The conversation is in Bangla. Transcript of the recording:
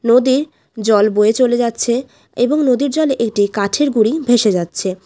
নদীর জল বয়ে চলে যাচ্ছে এবং নদীর জলে একটি কাঠের গুড়ি ভেসে যাচ্ছে।